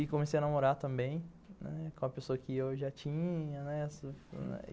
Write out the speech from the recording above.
E comecei a namorar também, com a pessoa que eu já tinha... né...